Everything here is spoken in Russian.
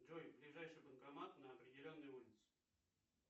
джой ближайший банкомат на определенной улице